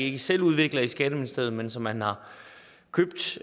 ikke selv udvikler i skatteministeriet men som man har købt